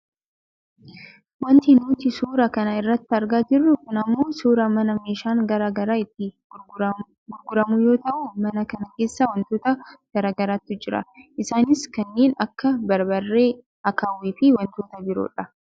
Wanti nuti suuraa kana irratti argaa jirru kun ammoo suuraa mana meeshaan gara garaa itti gurguramu yoo ta'u mana kana keessa wantoota gara garaatu jira . Isaanis kanneen akka barbaree , akaawwiifi wantoota biroodha.